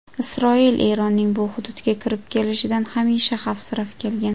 Isroil Eronning bu hududga kirib kelishidan hamisha xavfsirab kelgan.